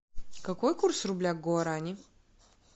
какой курс рубля к гуарани